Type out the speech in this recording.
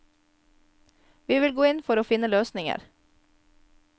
Vi vil gå inn for å finne løsninger.